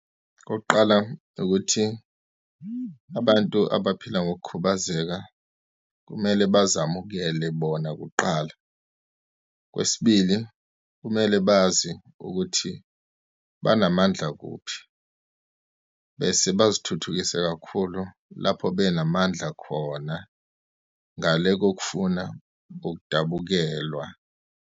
Okokuqala, ukuthi abantu abaphila ngokukhubazeka kumele bazamukele bona kuqala. Okwesibili, kumele bazi ukuthi banamandla kuphi, bese bazithuthukise kakhulu lapho benamandla khona, ngale kokufuna ukudabukelwa.